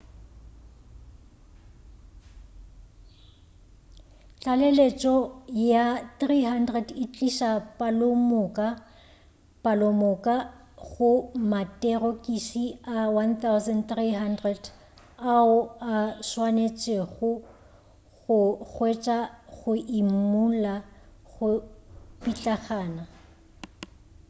tlaleletšo ya 300 e tliša palomoka go materokisi a 1,300 ao a swanetšwego go hwetšwa go imulla go pitlagana